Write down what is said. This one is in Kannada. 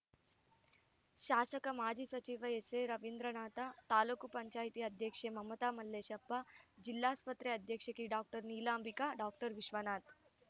ಶಾಸಕ ಮಾಜಿ ಸಚಿವ ಎಸ್‌ಎರವೀಂದ್ರನಾಥ ತಾಲೂಕ್ ಪಂಚಾಯೆತಿ ಅಧ್ಯಕ್ಷೆ ಮಮತಾ ಮಲ್ಲೇಶಪ್ಪ ಜಿಲ್ಲಾಸ್ಪತ್ರೆ ಅಧೀಕ್ಷಕಿ ಡಾಕ್ಟರ್ ನೀಲಾಂಬಿಕೆ ಡಾಕ್ಟರ್ ವಿಶ್ವನಾಥ್‌